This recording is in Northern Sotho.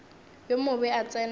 yo mobe a tsena ka